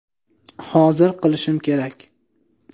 Hozir qilishim kerak.